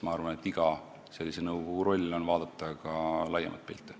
Ma arvan, et iga sellise nõukogu roll on vaadata ka laiemat pilti.